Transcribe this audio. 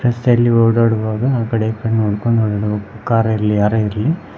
ರಸ್ತೆಯಲ್ಲಿ ಓಡಾಡುವಾಗ ಆ ಕಡೆ ಈ ಕಡೆ ನೋಡಿಕೊಂಡು ಓಡಾಡಬೇಕು ಕಾರ ಲ್ಲಿ ಯಾರೇ ಇರಲಿ.